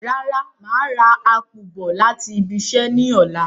Rárá, màá rà ápù bọ̀ láti ibiṣẹ́ ní ọ̀la